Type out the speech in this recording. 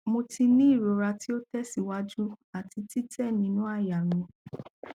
mo ti ni irora ti o tẹsiwaju ati titẹ ninu àyà mi